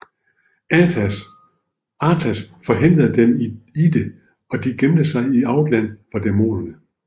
Arthas forhindrede dem i det og de gemte sig i Outland for demonerne